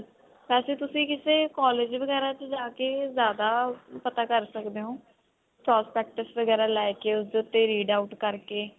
ਵੈਸੇ ਤੁਸੀਂ ਕਿਸੇ collage ਵਗੇਰਾ ਵਿੱਚ ਜਾਕੇ ਜਿਆਦਾ ਪਤਾ ਕਰ ਸਕਦੇ ਹੋ prospectus ਵਗੇਰਾ ਲੈਕੇ ਉਸਦੇ ਉੱਤੇ read out ਕਰਕੇ